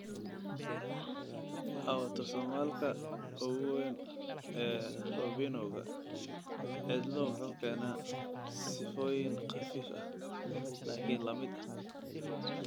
Autosomal-ka ugu weyn ee Robinowga cidlo wuxuu keenaa sifooyin khafiif ah, laakiin la mid ah.